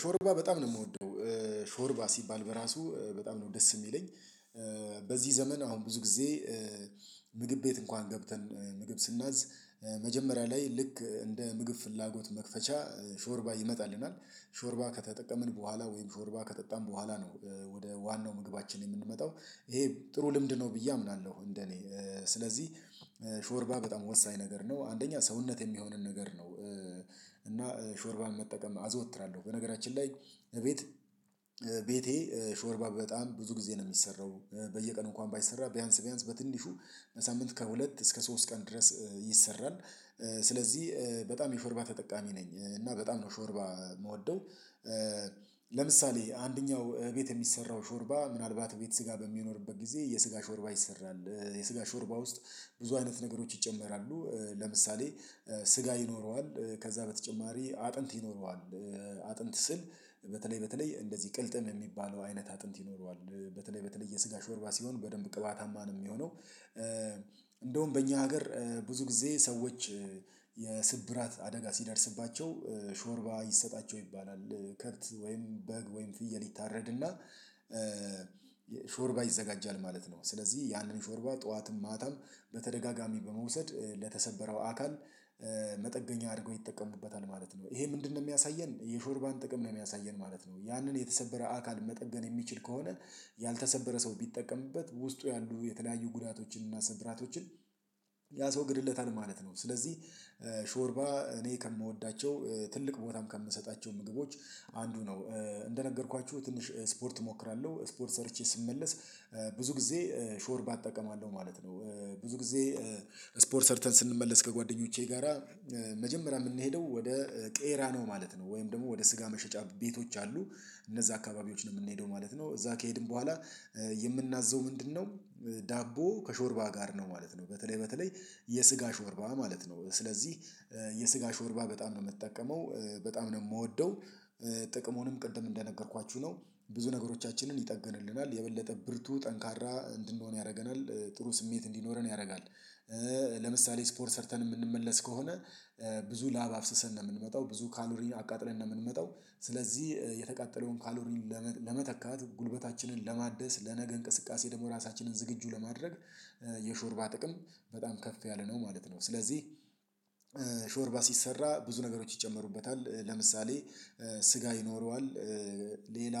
ሾርባ በጣም ነው የምወደው ሾርባ ሲባል በራሱ በጣም ነው ደስ የሚለኝ። በዚህ ዘመን አሁን ብዙ ጊዜ ምግብ ቤት እንኳን ገብተን ምግብ ስናዝ። መጀመሪያ ላይ ልክ እንደ ምግብ ፍላጎት መክፈቻ ሾርባ ይመጣልናል ሾርባ ከተጠቀምን በኋላ ወይም ፎርባ ከጠጣን በኋላ ነው ወደ ዋናው ምግባችን የምንመጣው ይሄ ጥሩ ልምድ ነው ብዬ አምናለሁ። እንደኔ ስለዚህ ሾርባ በጣም ወሳኝ ነገር ነው። አንደኛ ሰውነት የሚሆንን ነገር ነው እና ሾርባን መጠቀም አዘወትራለሁ። በነገራችን ላይ እቤት ቤቴ ሾርባ በጣም ብዙ ጊዜ ነው የሚሰራው በየቀኑ እንኳን ባይሰራ ቢያንስ ቢያንስ በትንሹ በሳምንት ከሁለት እስከ ሶስት ቀን ድረስ ይሰራል። ስለዚህ በጣም የሾርባ ተጠቃሚ ነኝ እና በጣም ነው ሾርባ የምወደው። ለምሳሌ አንደኛው እቤት የሚሰራው ሾርባ ምናልባት እቤት ስጋ በሚኖርበት ጊዜ የስጋ ሾርባ ይሰራል። የስጋ ሾርባ ውስጥ ብዙ አይነት ነገሮች ይጨመራሉ ለምሳሌ ስጋ ይኖረዋል ከዛ በተጨማሪ አጥንት ይኖረዋል አጥንት ስል በተለይ በተለይ እንደዚህ ቅልጥም የሚባለው አይነት አጥንት ይኖረዋል በተለይ በተለይ የስጋ ሾርባ ሲሆን በደንብ ቅባታማ ነው የሚሆነው። እንደውም በእኛ ሀገር ብዙ ጊዜ ሰዎች የስብራት አደጋ ሲደርስባቸው ሾርባ ይሰጣቸው ይባላል። ከርት ወይም በግ ወይም ፍየል ይታረድና ሾርባ ይዘጋጃል ማለት ነው። ስለዚህ ያንን ሾርባ ጠዋትም ማታም በተደጋጋሚ በመውሰድ ለተሰበረው አካል መጠገኛ አድርጎ ይጠቀምበታል ማለት ነው። ይሄ ምንድነው የሚያሳየን የሾርባን ጥቅም ነው የሚያሳየን ማለት ነው። ያንን የተሰበረ አካል መጠገን የሚችል ከሆነ ያልተሰበረ ሰው ቢጠቀምበት ውስጡ ያሉ የተለያዩ ጉዳቶችን እና ስብራቶችን ያስወግድለታል ማለት ነው። ስለዚህ ሾርባ እኔ ከምወዳቸው ትልቅ ቦታም ከምሰጣቸው ምግቦች አንዱ ነው። እንደነገርኳችሁ ትንሽ እስፖርት እሞክራለሁ እስፖርት ሰርቼ ስመለስ ብዙ ጊዜ ሾር እጠቀማለሁ ማለት ነው። ብዙ ጊዜ ስፖርት ሰርተን ስንመለስ ከጓደኞቼ ጋራ መጀመሪያ የምንሄደው ወደ ቄራ ነው ማለት ነው ወይም ደግሞ ወደ ስጋ መሸጫ ቤቶች አሉ እነዛ አካባቢዎች ነው የምንሄደው ማለት ነው። እዛ ከሄድን በኋላ የምናዘው ምንድነው? ዳቦ ከሾርባ ጋር ነው ማለት ነው በተለይ የስጋ ሾርባ ማለት ነው ስለዚህ የስጋ ሾርባ በጣም ነው የምጠቀመው በጣም ነው የምወደው። ጥቅሙንም ቅድም እንደነገርኳችሁ ነው ብዙ ነገሮቻችንን ይጠገንልናል የበለጠ ብርቱ ጠንካራ እንድንሆን ያደርገናል ጥሩ ስሜት እንዲኖረን ያደርጋል። ለምሳሌ ስፖርት ሰርተን የምንመለስ ከሆነ ብዙ ላብ አፍስሰን ነው የምንመጣው ብዙ ካሎሪን አቃጥለን ነው የምንመጣው ስለዚህ የተቃጠለውን ካሎሪን ለመተካት ጉልበታችንን ለማደስ ለነገ እንቅስቃሴ ደግሞ ራሳችንን ዝግጁ ለማድረግ የሾርባ ጥቅም በጣም ከፍ ያለ ነው ማለት ነው። ስለዚህ ሾርባ ሲሰራ ብዙ ነገሮች ይጨመሩበታል ለምሳሌ ስጋ ይኖረዋል ሌላ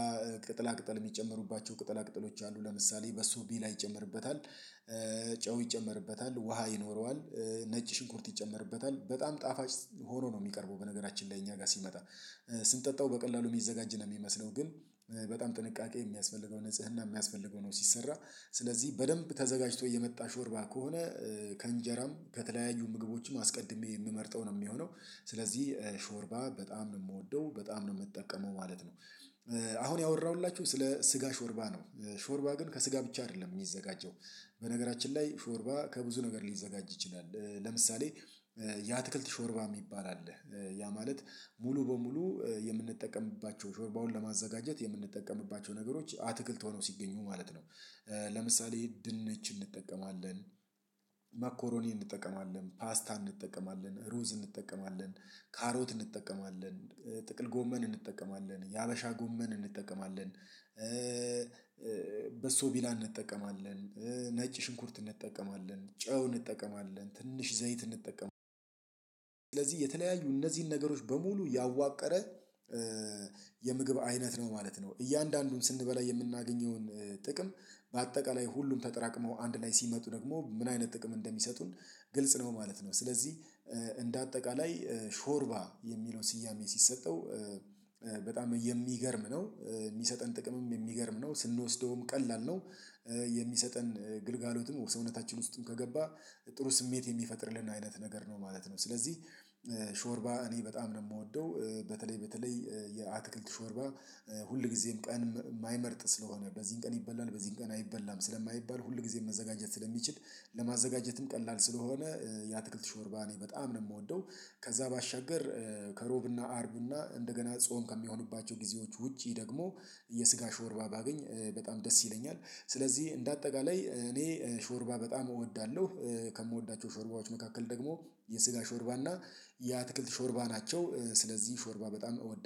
ቅጥላ ቅጥል የሚጨምሩባቸው ቅጠል አቅጠሎች አሉ ለምሳሌ በሱ ቢላ ይጨምርበታል ጨው ይጨመርበታል ውሃ ይኖረዋል ነጭ ሽንኩርት ይጨመርበታል በጣም ጣፋጭ ሆኖ ነው የሚቀርበው በነገራችን ላይ እኛ ጋር ሲመጣ ስንጠጣው በቀላሉ የሚዘጋጅ ነው የሚመስለው ግን በጣም ጥንቃቄ የሚያስፈልገው ንጽህና የሚያስፈልገው ነው ሲሰራ ስለዚህ በደንብ ተዘጋጅቶ የመጣ ሾርባ ከሆነ ከእንጀራም ከተለያዩ ምግቦችም አስቀድሜ የምመርጠው ነው የሚሆነው። ስለዚህ ሾርባ በጣም የምወደው በጣም ነው የምትጠቀመው ማለት ነው። አሁን ያወራሁላችሁ ስለ ስጋ ሾርባ ነው። ሾርባ ግን ከስጋ ብቻ አይደለም የሚዘጋጀው። በነገራችን ላይ ሾርባ ከብዙ ነገር ሊዘጋጅ ይችላል። ለምሳሌ የአትክልት ሾርባ የሚባል አለ። ያ ማለት ሙሉ በሙሉ የምንጠቀምባቸው ሾርባውን ለማዘጋጀት የምንጠቀምባቸው ነገሮች አትክልት ሆነው ሲገኙ ማለት ነው። ለምሳሌ ድንነች እንጠቀማለን ማኮሮኒ እንጠቀማለን ፓስታ ሩዝ እንጠቀማለን ካሮት እንጠቀማለን ጥቅል ጎመን እንጠቀማለን የሀበሻ ጎመን እንጠቀማለን በሶ ቢላ እንጠቀማለን ነጭ ሽንኩርት እንጠቀማለን ጨው እንጠቀማለን ትንሽ ዘይት እንጠቀማለን ስለዚህ የተለያዩ እነዚህን ነገሮች በሙሉ ያዋቀረ የምግብ አይነት ነው ማለት ነው። እያንዳንዱን ስንበላ የምናገኘውን ጥቅም በአጠቃላይ ሁሉም ተጠራቅመው አንድ ላይ ሲመጡ ደግሞ ምን አይነት ጥቅም እንደሚሰጡን ግልጽ ነው ማለት ነው። ስለዚህ እንደ አጠቃላይ ሾርባ የሚለውን ስያሜ ሲሰጠው በጣም የሚገርም ነው የሚሰጠን ጥቅምም የሚገርም ነው ስንወስደውም ቀላል ነው። የሚሰጠን ግልጋሎትም ሰኝነታችን ውስጥም ከገባ ጥሩ ስሜት የሚፈጥርልን አይነት ነገር ነው ማለት ነው። ስለዚህ ሾርባ እኔ በጣም ነው የምወደው። በተለይ በተለይ የአትክልት ሾርባ ሁልጊዜም ቀን የማይመርጥ ስለሆነ በዚህን ቀን ይበላል በዚህን ቀን አይበላም ስለማይባል ሁልጊዜም መዘጋጀት ስለሚችል ለማዘጋጀትም ቀላል ስለሆነ ያትክልት ሾርባ እኔ በጣም ነው የምወደው። ከዛ ባሻገር ከሮብ እና አርብና እንደገና ጾም ከሚሆኑባቸው ጊዜዎች ውጪ ደግሞ የስጋ ሾርባ ባገኝ በጣም ደስ ይለኛል። ስለዚህ እንደ አጠቃላይ እኔ ሾርባ በጣም እወዳለሁ። ከምወዳቸው ሾርባዎች መካከል ደግሞ የስጋ ሾርባ እና የአትክልት ሾርባ ናቸው። ስለዚህ ሾርባ በጣም እወዳለሁ